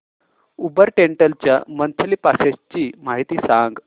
Uber rental च्या monthly passes ची माहिती सांग